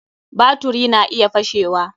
Baturi na iya fashewa.